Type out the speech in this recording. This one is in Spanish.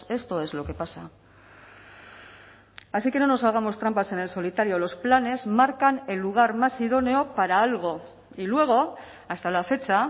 esto es lo que pasa así que no nos hagamos trampas en el solitario los planes marcan el lugar más idóneo para algo y luego hasta la fecha